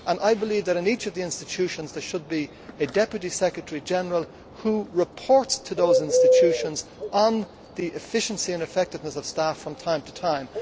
I believe that in each of the institutions, there should be a deputy secretary general who reports to those institutions on the efficiency and effectiveness of staff from time to time.